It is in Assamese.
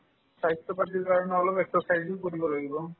স্বাস্থ্যৰ প্ৰতি কাৰণে অলপ exercise ও কৰিব লাগিব